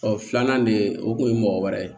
filanan de o kun ye mɔgɔ wɛrɛ ye